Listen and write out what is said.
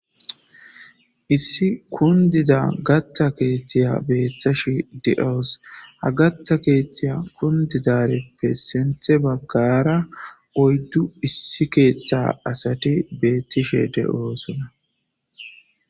Issi kunidiza gata keththiya beyashe deawus haa gata keththiya kunididarippe sinithte bagara oyidu keththa asat betishe deosoona